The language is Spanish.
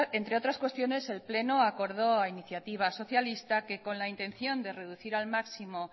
entre otras cuestiones el pleno acordó a iniciativa socialista que con la intención de reducir al máximos